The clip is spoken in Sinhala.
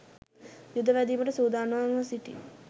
යුද වැදීමට සූදානම්ව සිටි